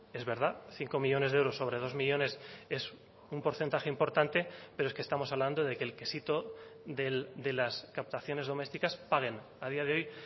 es verdad cinco millónes de euros sobre dos millónes es un porcentaje importante pero es que estamos hablando de que el quesito de las captaciones domésticas paguen a día de hoy